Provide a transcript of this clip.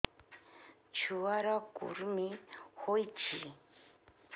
ଛୁଆ ର କୁରୁମି ହୋଇଛି